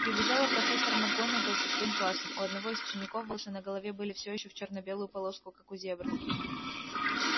прибежала профессор макгонагалл со своим классом у одного из учеников волосы на голове были все ещё в чёрно-белую полоску как у зебры